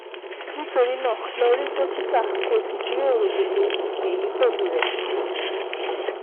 Nítorí náà, lọ rí dókítà kó o sì jíròrò gbogbo èyí pẹ̀lú rẹ̀